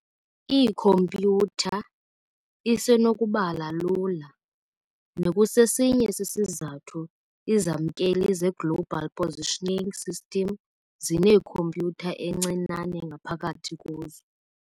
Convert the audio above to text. Iikhompyutha isenokubala lula, nekusesinye sezizathu izamkeli ze-Global Positioning System zinekhompyutha encinane ngaphakathi kuzo.